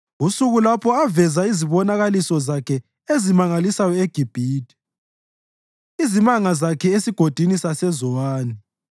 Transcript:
usuku lapho aveza khona izibonakaliso zakhe ezimangalisayo eGibhithe, izimanga zakhe esigodini saseZowani.